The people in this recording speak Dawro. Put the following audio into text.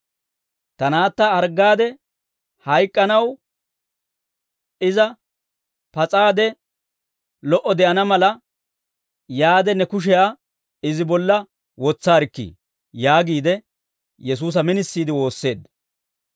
«Ta naatta harggaade hayk'k'anaw; iza pas'iide lo"o de'ana mala, yaade ne kushiyaa izi bolla wotsaarikkii» yaagiide Yesuusa minisiide woosseedda.